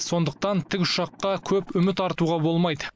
сондықтан тік ұшаққа көп үміт артуға болмайды